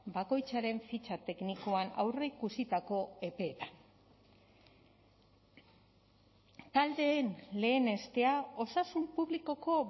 bakoitzaren fitxa teknikoan aurreikusitako epeetan taldeen lehenestea osasun publikoko